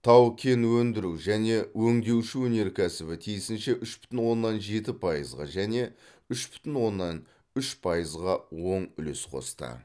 тау кен өндіру және өңдеуші өнеркәсібі тиісінше үш бүтін оннан жеті пайызға және үш бүтін оннан үш пайызға оң үлес қосты